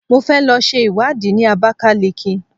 Mo fẹ́ lọ ṣe ìwádìí ní Abakaliki.